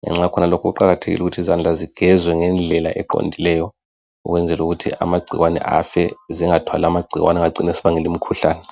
ngenxa yakhonalokhu kuqakathekile ukuthi izandla zigezwe ngendlela eqondileyo ukwenzelu kuthi amagcikwane afe .Zingathwali amagcikwane angacina esibangela imikhuhlane .